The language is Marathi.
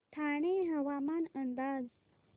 ठाणे हवामान अंदाज